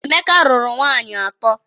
Emeka rụrụ nwaanyị atọ.